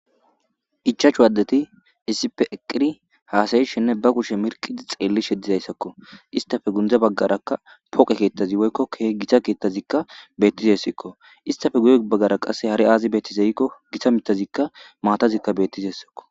ichaachu waaddeti isipe eqiri haasayishenne ba kushe mirqidi xeelli shedizayssakko istafe gundza baggarakka poqe keettazi woykkoke gita keettazikka beettisessikko istafe guye baggara qasse hari aazi beettizeyikko gita mitazikka maatazikka bettisessikko.